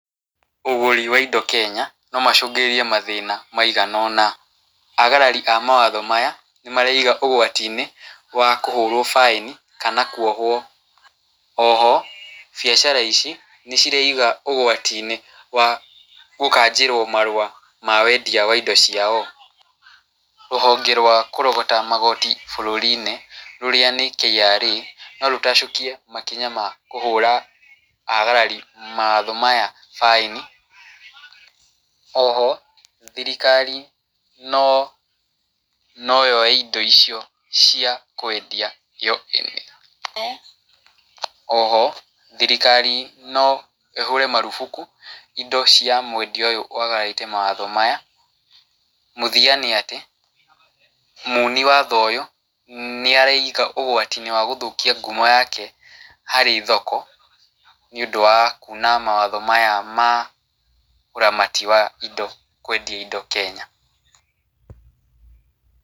Ũgũri wa indo Kenya no macũngĩrĩrie mathĩna maigana ũna, agarari a mawatho maya nĩmareiga ũgwatinĩ wa kũhũrwo baĩni kana kuohwo. Oho biacara ici nĩcireiga ũgwatinĩ wa gũkanjĩrwo marũa ma wendia wa indo ciao. Rũhonge rwa kũrogota magoti bũrũrinĩ rũrĩa nĩ KRA no rũtacũkie makinya ma kũhũra agarari mawatho maya baĩni. Oho thirikari no yoe indo icio cia kwendia yohe. Oho thirikari no ĩhũre marubuku indo cia mwendia ũyũ wagararĩte mawatho maya. Mũthia nĩ atĩ muni watho ũyũ nĩareiga ũgwatinĩ wa gũthũkia ngumo yake harĩ thoko nĩũndũ wa kuna mawatho maya ma ũramati wa kwendia indo Kenya.